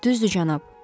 Düzdür, cənab?